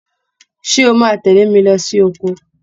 Ṣé o máa tẹlé mi lo sí oko?